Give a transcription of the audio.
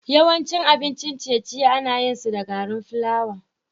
Yawancin abincin ciye-ciye ana yin su da gari flawa.